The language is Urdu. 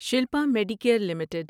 Shilpa Medicare limited